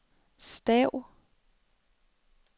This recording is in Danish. stav